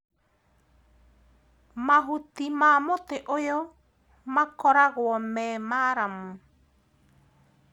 Mahuti ma mũtĩ ũyũ makoragũo me maramu.